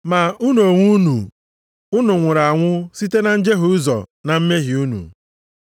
Ma unu onwe unu, unu nwụrụ anwụ site na njehie ụzọ na mmehie unu.